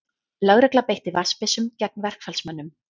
Lögregla beitti vatnsbyssum gegn verkfallsmönnum